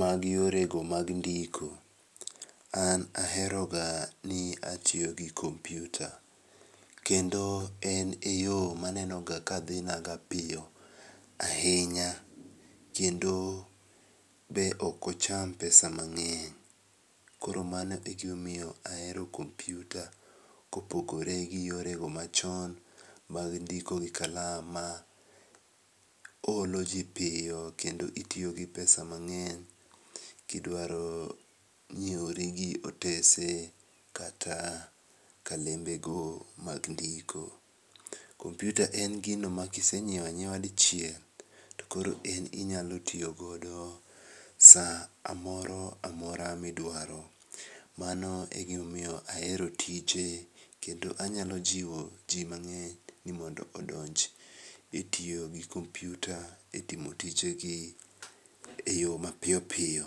mag yore go mag ndiko. An aheroga ni atiyogi kompyuta, kendo en eyo manenoga kadhinaga piyo ahinya, kendo be okocham pesa mang'eny, koro mano egimomiyo ahero kompyuta kopogore gi yore go machon mag ndiko gi kalam maolo jii piyo kendo itiyo gi pesa mang'eny kidwaro nyieuri gi otese kata kalembe go mag ndiko. Kompyuta en gino ma kisenyieo anyiewa dichiel tokoro en inyalo tiyogodo saa amoro amora ma idwaro. Mano egimomiyo ahero tije kendo anyalo jiwo jii mang'eny ni mondo odonj etiyo gi kompyuta etimo tijegi eyo mapiyo piyo.